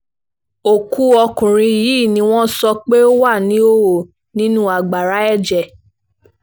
ọkú ọkùnrin yìí ni wọ́n sọ pé ó wà níhòòhò nínú agbára ẹ̀jẹ̀